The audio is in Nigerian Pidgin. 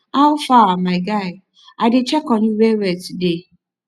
how far my guy i dey check on you well well today